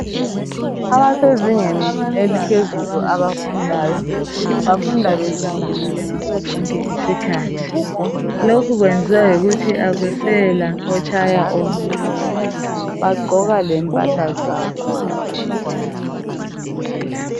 Abasezingeni eliphezulu abafundayo bafunda bejabulile ngaso sonke isikhathi. Lokhu kwenziwa yikuthi akusela otshaya omunye, bagqoka lempahla zabo ngaso sonke isikhathi.